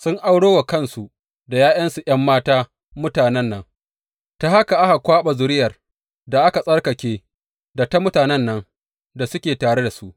Sun auro wa kansu da ’ya’yansu ’yan mata mutanen nan, ta haka aka kwaɓa zuriyar da aka tsarkake da ta mutanen nan da suke tare da su.